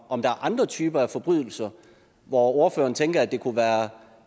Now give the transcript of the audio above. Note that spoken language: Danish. om der er andre typer af forbrydelser hvor ordføreren tænker det kunne være